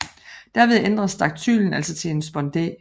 Derved ændres daktylen altså til en spondæ